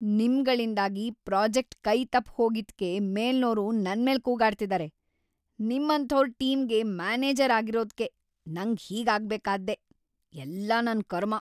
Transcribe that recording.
ನಿಮ್ಗಳಿಂದಾಗಿ project ಕೈ ತಪ್ ಹೋಗಿದ್ಕೆ ಮೇಲ್ನೋರು ನನ್ಮೇಲ್‌ ಕೂಗಾಡ್ತಿದಾರೆ, ನಿಮ್ಮಂಥೋರ್‌ ಟೀಮ್ಗೆ ಮ್ಯಾನೇಜರ್‌ ಆಗಿರೋದ್ಕೆ ನಂಗ್‌ ಹೀಗ್‌ ಆಗ್ಬೇಕಾದ್ದೇ..‌ ಎಲ್ಲ ನನ್‌ ಕರ್ಮ.